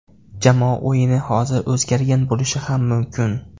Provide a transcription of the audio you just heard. Jamoa o‘yini hozir o‘zgargan bo‘lishi ham mumkin.